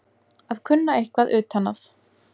Að kunna eitthvað utan að